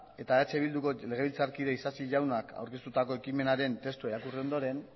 eta eh bilduko legebiltzarkide isasi jaunak aurkeztutako ekimenaren testua irakurri ondoren